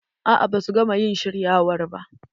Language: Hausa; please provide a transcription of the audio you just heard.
A'a ba su gama ƴin shiryawar ba.